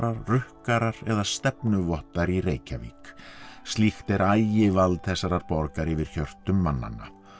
rukkarar eða í Reykjavík slíkt er ægivald þessarar borgar yfir hjörtum mannanna